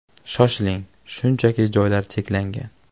Shoshiling, chunki joylar cheklangan!